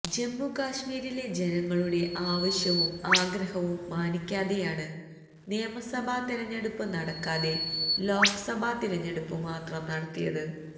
ജമ്മുകശ്മീരിലെ ജനങ്ങളുടെ ആവശ്യവും ആഗ്രവും മാനിക്കാതെയാണ് നിയമസഭാ തിരഞ്ഞെടുപ്പ് നടക്കാതെ ലോക്സഭ തിരഞ്ഞെടുപ്പ് മാത്രം നടത്തിയത്